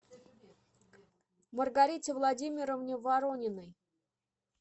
маргарите владимировне ворониной